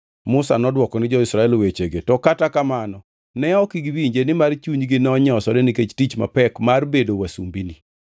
Musa nodwoko ni jo-Israel wechegi, to kata kamano ne ok giwinje nimar chunygi nonyosore nikech tich mapek mar bedo wasumbini.